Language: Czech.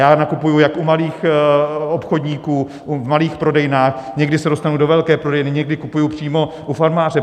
Já nakupuji jak u malých obchodníků v malých prodejnách, někdy se dostanu do velké prodejny, někdy kupuji přímo u farmáře.